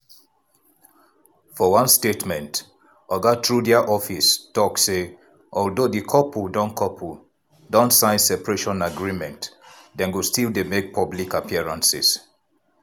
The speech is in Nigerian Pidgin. for one statement oga trudeau office tok say although di couple don couple don sign separation agreement dem go still dey make public appearances.